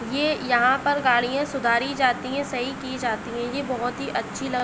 ये यहाँ पर गाड़ियाँ सुधारी जाती हैं। सही की जाती हैं। ये बोहोत ही अच्छी ल --